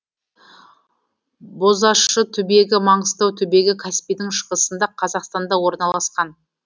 бозащы түбегі маңғыстау түбегі каспийдің шығысында қазақстанда орналасқан